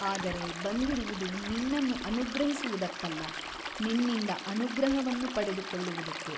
ಅದರೆ ಬಂದಿರುವುದು ನಿನ್ನನ್ನು ಅನುಗ್ರಹಿಸುವುದಕ್ಕಲ್ಲ ನಿನ್ನಿಂದ ಅನುಗ್ರಹವನ್ನು ಪಡೆದುಕೊಳ್ಳುವುದಕ್ಕೆ.